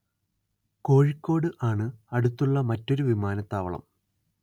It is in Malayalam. കോഴിക്കോട് ആണ് അടുത്തുള്ള മറ്റൊരു വിമാനത്താവളം